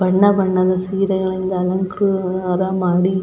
ಬಣ್ಣ ಬಣ್ಣದ ಸೀರೆಗಳಿಂದ ಅಲಂಕಾರ ಮಾಡಿ.